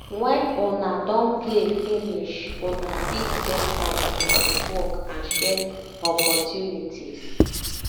when una don play finish una fit get time to network and share opportunities